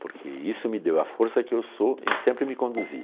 Porque isso me deu a força que eu sou e sempre me conduzi.